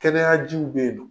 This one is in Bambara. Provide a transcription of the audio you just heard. Kɛnɛyajiw bɛ ye nɔn.